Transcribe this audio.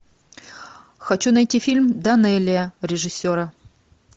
хочу найти фильм данелия режиссера